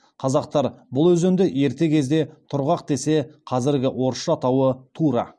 қазақтар бұл өзенді ерте кезде тұрғақ десе қазіргі орысша атауы тура